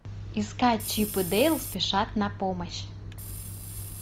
искать чип и дейл спешат на помощь